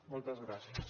moltes gràcies